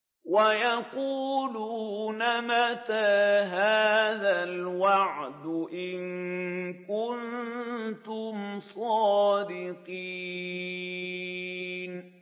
وَيَقُولُونَ مَتَىٰ هَٰذَا الْوَعْدُ إِن كُنتُمْ صَادِقِينَ